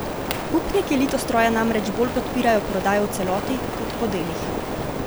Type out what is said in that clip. Upniki Litostroja namreč bolj podpirajo prodajo v celoti, kot po delih.